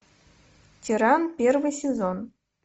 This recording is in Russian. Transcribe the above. тиран первый сезон